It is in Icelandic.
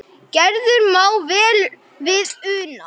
Gerður má vel við una.